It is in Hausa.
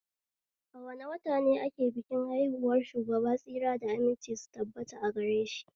A wane wata ne ake bikin haihuwar Shugaba tsira da aminci su tabbata agareshi?